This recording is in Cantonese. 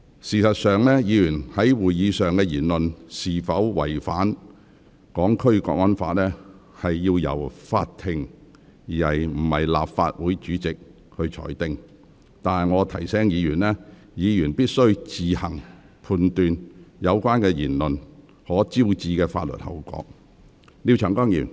事實上，議員在會議上的言論是否違反《港區國安法》，應由法庭而非立法會主席裁定，但我提醒議員，議員必須自行判斷有關言論可能招致的法律後果。